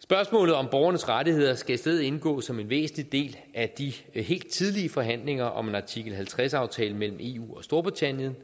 spørgsmålet om borgernes rettigheder skal i stedet indgå som en væsentlig del af de helt tidlige forhandlinger om en artikel halvtreds aftale mellem eu og storbritannien